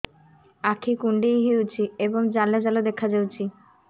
ଆଖି କୁଣ୍ଡେଇ ହେଉଛି ଏବଂ ଜାଲ ଜାଲ ଦେଖାଯାଉଛି